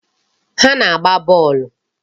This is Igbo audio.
Ha na-agba bọọlụ.